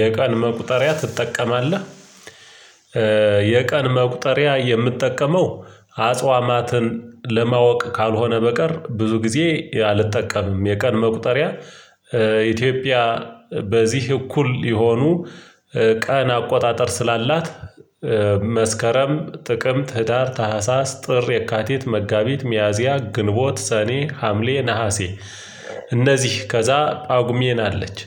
የቀን መቁጠሪያ ትጠቀማለህ? የቀን መቁጠሪያ የምጠቀመው አጽዋማትን ለማወቅ ካልሆነ በቀር ብዙ ጊዜ አልጠቀምም የቀን መቁጠሪያ። ኢትዮጵያ በዚህ እኩል የሆኑ ቀን አቆጣጠር ስላላት መስከረም ጥቅምት ህዳር ታህሳስ ጥር የካቲት መጋቢት ሚያዝያ ግንቦት ሰኔ ሀምሌ ነሀሴ እነዚህ ከዛ ጻጉሜን አለች።